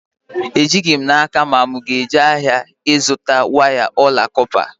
Ejighị m n'aka ma mụ aga-eje ahịa echi ịzụta waya ọla kọpa